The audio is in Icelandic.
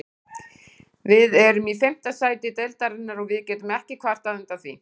Við erum í fimmta sæti deildarinnar og við getum ekki kvartað undan því.